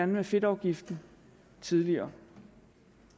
med fedtafgiften tidligere